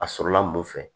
A sɔrɔla mun fɛ